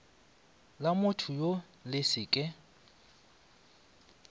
la mothoyoo le se ke